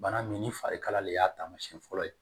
Bana min ni farikala de y'a taamasiyɛn fɔlɔ ye